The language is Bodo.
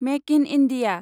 make in India